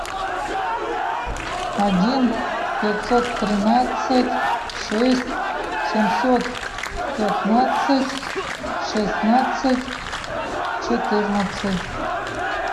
один пятьсот тринадцать шесть семьсот пятнадцать шестнадцать четырнадцать